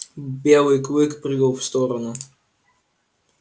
белый клык прыгал в сторону